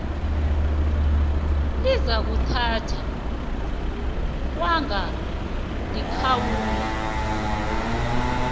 elizakuthathwa kwanga likhawula